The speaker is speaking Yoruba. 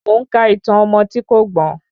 Mo ń ka ìtàn ọmọ tí kò gbọ́n.